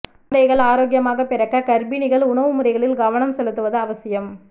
குழந்தைகள் ஆரோக்கியமாக பிறக்க கா்ப்பிணிகள் உணவு முறைகளில் கவனம் செலுத்துவது அவசியம்